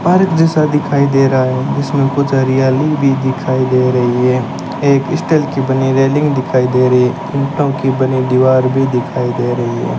Park जैसा दिखाई दे रहा है जिसमें कुछ हरियाली भी दिखाई दे रही है एक स्टील की बनी रेलिंग दिखाई दे रही है ईंटों की बनी दीवार भी दिखाई दे रही है।